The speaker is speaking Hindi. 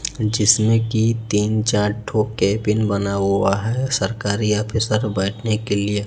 जिसमें की तीन चार ठो केबिन बना हुआ है सरकारी ऑफीसर बैठने के लिए--